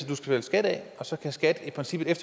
betale skat af og så kan skat i princippet